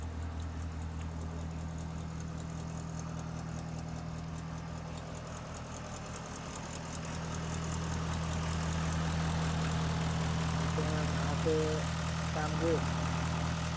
মাহঁতে কাম কৰি আছে নে